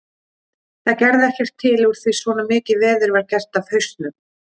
Það gerði ekkert til úr því svona mikið veður var gert af hausnum.